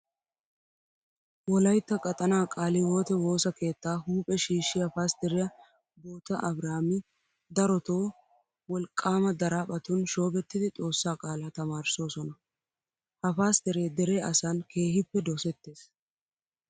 Wolaytta qaxanaa qaale hiwoote woosa keettaa huuphe shiishshiya pastteriya bota abiraami darotoo wolqqaama daraphphatun shoobettidi Xoossaa qaalaa tamaarissoosona. Ha pastteree dere asan keehippe dosettees.